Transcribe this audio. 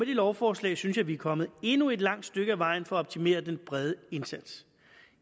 lovforslag synes jeg vi er kommet endnu et langt stykke ad vejen for at optimere den brede indsats